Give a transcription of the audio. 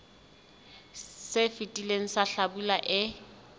se fetileng sa hlabula e